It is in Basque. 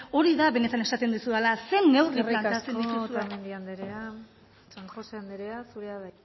hori da benetan esaten dizudana zein neurri planteatzen dituzue eskerrik asko otamendi anderea san josé anderea zurea da